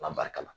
An b'a kalan